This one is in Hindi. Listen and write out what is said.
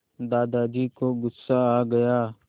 दादाजी को गुस्सा आ गया